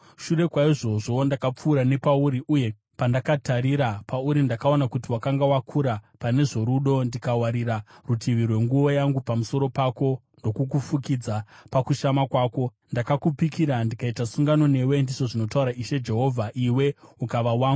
“ ‘Shure kwaizvozvo, ndakapfuura nepauri, uye pandakatarira pauri ndakaona kuti wakanga wakura pane zvorudo, ndikawarira rutivi rwenguo yangu pamusoro pako ndokukufukidza pakushama kwako. Ndakakupikira ndikaita sungano newe, ndizvo zvinotaura Ishe Jehovha, iwe ukava wangu.